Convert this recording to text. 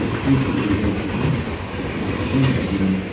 nokni cholgugakoba nikna gita man·enga.